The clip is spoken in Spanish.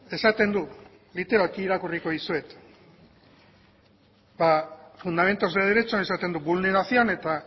literalki irakurri dizuet fundamentos de derechos esaten du vulneración eta